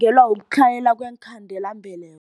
Kutlhayela kweenkhandelambeleko.